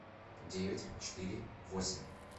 девять четыре восемь